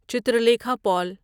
Chitralekha پول